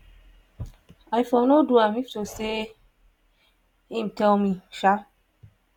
"i for no do am if to say im tell me.